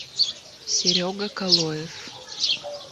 серега колоев